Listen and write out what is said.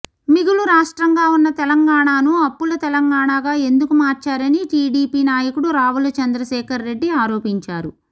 మిగులు రాష్ట్రంగా ఉన్న తెలంగాణను అప్పుల తెలంగాణగా ఎందుకు మార్చారని టీటీడీపీ నాయకుడు రావుల చంద్రశేఖర్ రెడ్డి ఆరోపించారు